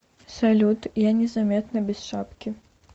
салют я незаметно без шапки